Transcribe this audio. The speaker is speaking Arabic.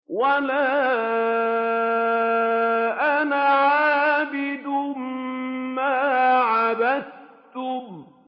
وَلَا أَنَا عَابِدٌ مَّا عَبَدتُّمْ